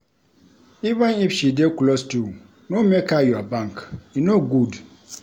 Even if she dey close to you, no make her your bank. E no good.